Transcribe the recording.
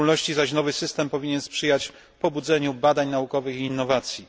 W szczególności zaś nowy system powinien sprzyjać pobudzeniu badań naukowych i innowacji.